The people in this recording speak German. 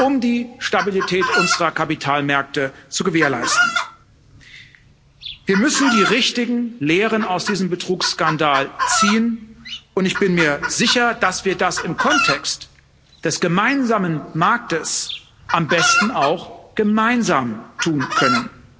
um die Stabilität unserer Kapitalmärkte zu gewährleisten. Wir müssen die richtigen Lehren aus diesem Betrugsskandal ziehen, und ich bin mir sicher, dass wir das im Kontext des gemeinsamen Marktes am besten auch gemeinsam tun können.